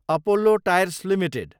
Apollo Tyres Ltd